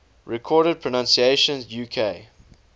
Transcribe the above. recorded pronunciations uk